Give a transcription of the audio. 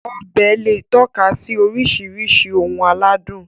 Ọbẹ̀ lè tọ́ka sí oríṣiríṣi ohun aládùn